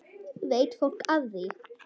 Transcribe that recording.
Veit fólk af því?